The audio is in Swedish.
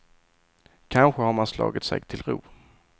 Kanske har man slagit sig till ro.